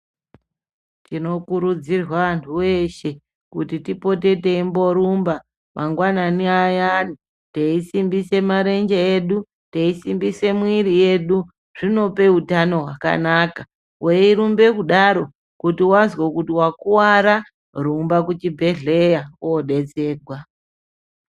Tinokurudzirwa antu eshe kuti tipote teimborumba mangwanani ayani teisimbise marenje edu teisimbise mwiri yedu zvinopa utano hwakanaka kana weirumbe kudaro kuti wazwa kuti wakuwara rumba kuchibhedhleya wodetserwa.